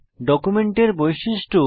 ডকুমেন্টের বৈশিষ্ট্য